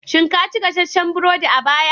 Shin ka ci gasasshen burodi a baya?